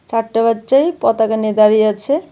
চারটে বাচ্চাই পতাকা নিয়ে দাঁড়িয়ে আছে.